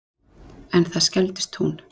En það skelfdist hún.